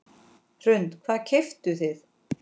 Hrund: Hvað keyptuð þið?